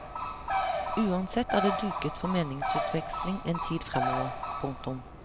Uansett er det duket for meningsutveksling en tid fremover. punktum